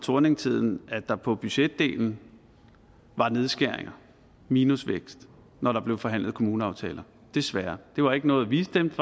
thorningtiden at der på budgetdelen var nedskæringer minusvækst når der blev forhandlet kommuneaftaler desværre det var ikke noget vi stemte